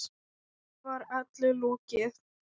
Nú var öllu lokið.